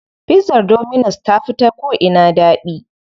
Pizzar dominus ta fi da ko'ina daɗi.